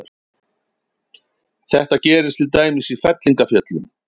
Þetta gerist til dæmis í fellingafjöllum.